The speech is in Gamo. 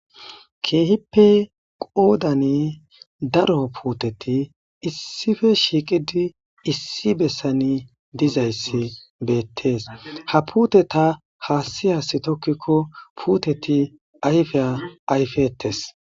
keehippe qoodani daro puuteti issife shiiqidi issi bessani dizayssi beettees ha puuteta haassiyas tokkikko puuteti ayfe ayfettes